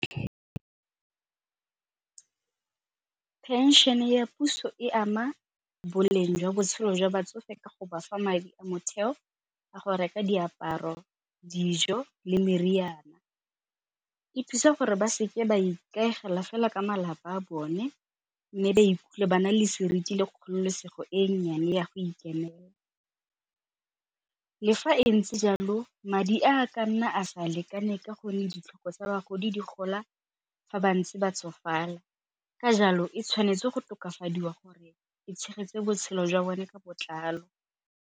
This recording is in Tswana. Phenšene ya puso e ama boleng jwa botshelo jwa batsofe ka go bafa madi a motheo a go reka diaparo, dijo le meriana. E thusa gore ba seke ba ikaegela fela ka malapa a bone mme ba ikutlwe ba na le seriti le kgololosego e nnyane ya go ikemela, le fa e ntse jalo madi a a ka nna a sa lekane ka gonne ditlhoko tsa bagodi di gola fa bantse ba tsofala. Ka jalo e tshwanetse go tokafadiwa gore e tshegetse botshelo jwa bone ka botlalo.